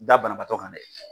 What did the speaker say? Da banabaatɔ kan dɛ.